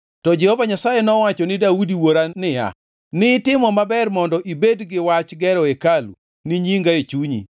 To Jehova Nyasaye nowacho ni Daudi wuora niya, ‘Nitimo maber mondo ibed gi wach gero hekalu ni nyinga e chunyi.